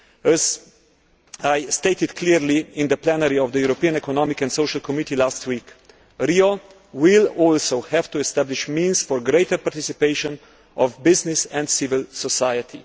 As I stated clearly in the plenary of the European Economic and Social Committee last week, Rio will also have to establish means for greater participation of business and civil society.